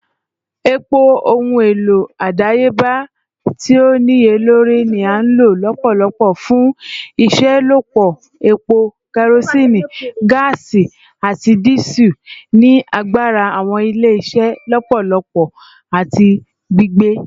Epo, ohun elo adayeba ti o niyelori, ni a lo lọpọlọpọ fun iṣelọpọ epo, kerosene, gaasi, ati Diesel, ni agbara awọn ile-iṣẹ lọpọlọpọ ati gbigbe.